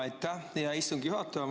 Aitäh, hea istungi juhataja!